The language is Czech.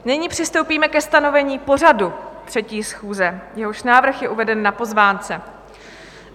Nyní přistoupíme ke stanovení pořadu 3. schůze, jehož návrh je uveden na pozvánce.